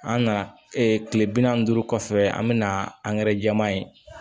An nana kile bi nanni ni duuru kɔfɛ an be na angɛrɛ jɛman ye